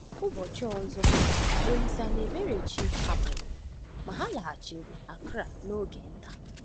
Ụbọchị ọzọ, Olíse na Eberechi hapụrụ, ma ha laghachiri Accra n’oge nta.